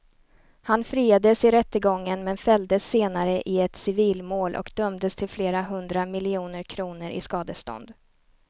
Han friades i rättegången men fälldes senare i ett civilmål och dömdes till flera hundra miljoner kronor i skadestånd.